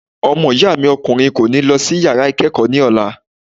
Ọmọ ìyá mi ọkùnrin kò ní lọ sí yàrá ìkẹ́kọ̀ọ́ ní ọ̀la.